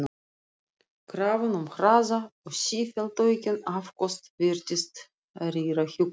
Krafan um hraða og sífellt aukin afköst virtist rýra hjúkrunina.